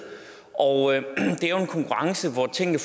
det er jo en konkurrence hvor tingene